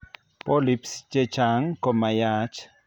Polyps chechang' komayaach